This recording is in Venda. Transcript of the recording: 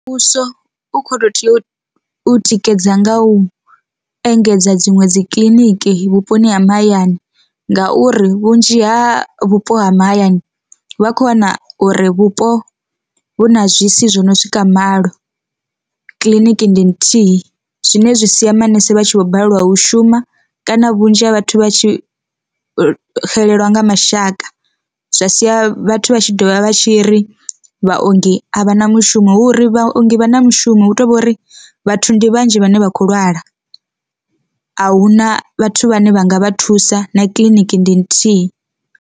Muvhuso u kho to tea u tikedza nga u engedza dziṅwe dzi kiḽiniki vhuponi ha mahayani ngauri vhunzhi ha vhupo ha mahayani vha kho wana uri vhupo vhu na zwisi zwi no swika malo, kiḽiniki ndi nthihi. Zwine zwi sia manese vha tshi vho balelwa u shuma kana vhunzhi ha vhathu vha tshi xelelwa nga mashaka, zwa sia vhathu vha tshi ḓovha vha tshi ri vhaongi a vha na mushumo hu uri vhaongi vha na mushumo hu tovhori vhathu ndi vhanzhi vhane vha khou lwala, a huna vhathu vhane vha nga vha thusa na kiḽiniki ndi nthihi.